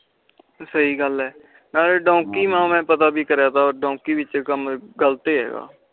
ਸਹੀ ਗੱਲ ਆ ਪਤਾ ਕਰਿਆ ਤਾ ਡੌਂਕੀ ਵਿਚ ਕਮ ਗ਼ਲਤ ਏ ਆ